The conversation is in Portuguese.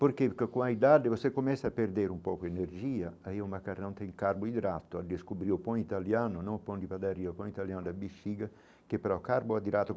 Porque que com a idade você começa a perder um pouco a energia aí o macarrão tem carboidrato, a descobrir o pão italiano, não o pão de padaria, o pão italiano da bexiga, que é,, carboidrato.